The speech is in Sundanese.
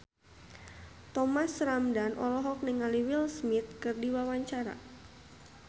Thomas Ramdhan olohok ningali Will Smith keur diwawancara